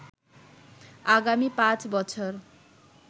আগামী পাঁচ বছর